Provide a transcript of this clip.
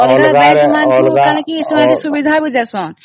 ଅଲଗା bank ମାନେ ସୁବିଧା ବି ଦିଅନ୍ତି